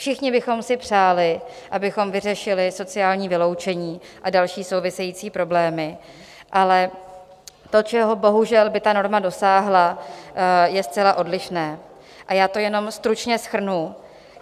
Všichni bychom si přáli, abychom vyřešili sociální vyloučení a další související problémy, ale to, čeho bohužel by ta norma dosáhla, je zcela odlišné, a já to jenom stručně shrnu.